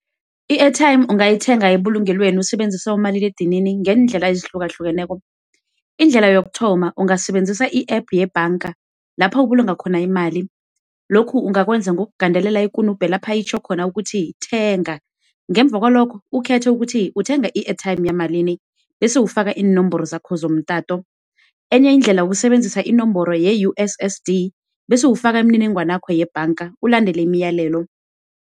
I-airtime ungayithenga ebulungelweni usebenzisa umaliledinini ngeendlela ezihlukahlukeneko. Indlela yokuthoma, ungasebenzisa i-app yebhanga lapha ubulunga khona imali. Lokhu ungakwenza ngokugandelela ikunubhe lapho itjho khona ukuthi thenga, ngemuva kwalokho ukhethe ukuthi uthenga i-airtime yamalini, bese ufaka iinomboro zakho zomtato. Enye indlela, kusebenzisa inomboro ye-USSD bese ufaka imininingwana yakho yebhanga ulandele imiyalelo.